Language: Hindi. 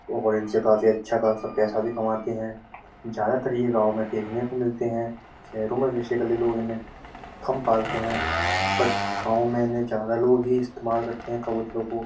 काफी अच्छा पैसा भी कमाते हैं। ज्यादा तर ये गांव में देखने को मिलते हैं शहरों में बेसिकली लोग इन्हें कम ही पालते है। बट गांव में इन्हें ज्यादा लोग ही इस्तेमाल करते हैं कबूतरों को --